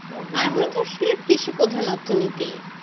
সে কৃষিপ্রধান অর্থনীতি